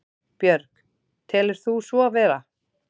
Björg: Telur þú svo vera?